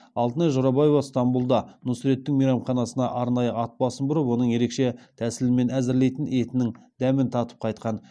алтынай жорабаева стамбұлда нұсреттің мейрамханасына арнайы ат басын бұрып оның ерекше тәсілмен әзірлейтін етінің дәмін татып қайтқан